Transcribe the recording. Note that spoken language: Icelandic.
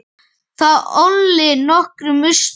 Það olli nokkrum usla.